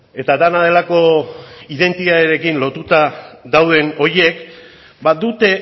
eta dena delako identitatearekin lotuta dauden horiek badute